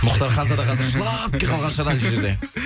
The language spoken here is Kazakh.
мұхтар ханзада қазір жылап та қалған шығар анау жерде